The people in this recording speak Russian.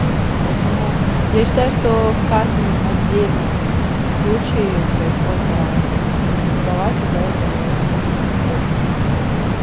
вот поэтому я считаю что в каждом отдельном случае происходит по-разному и митинговать из-за этого не имеет никакого смысла